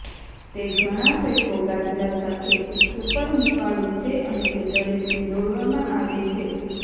તે ઘણાં ફેંકો ગાદલા સાથે સુપર હૂંફાળું છે અને તે દરેકને દોરવામાં આવે છે